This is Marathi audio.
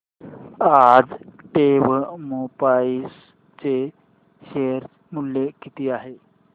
आज टेक्स्मोपाइप्स चे शेअर मूल्य किती आहे